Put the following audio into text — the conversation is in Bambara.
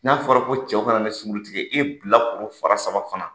N'a fɔra ko cɛw ka na ne sunkurutigɛ e bilakoro fara saba fana